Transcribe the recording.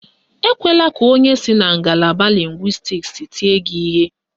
Ekwela ka onye si na ngalaba lịngwịstiks tie gị ihe.